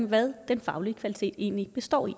hvad den faglige kvalitet egentlig består i